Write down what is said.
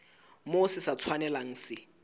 moo se sa tshwanelang se